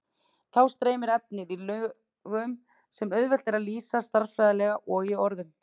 Þá streymir efnið í lögum sem auðvelt er að lýsa stærðfræðilega og í orðum.